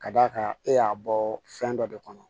Ka d'a kan e y'a bɔ fɛn dɔ de kɔnɔ